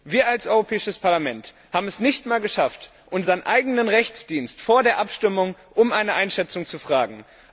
Wir als Europäisches Parlament haben es nicht einmal geschafft, unseren eigenen Rechtsdienst vor der Abstimmung um eine Einschätzung zu befragen.